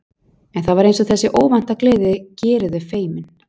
En það var eins og þessi óvænta gleði geri þau feimin.